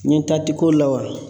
N ɲɛ taa ti kow la wa ?